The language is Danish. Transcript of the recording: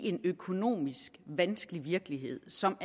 i en økonomisk vanskelig virkelighed som